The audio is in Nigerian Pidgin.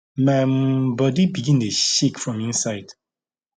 my um body begin dey shake from inside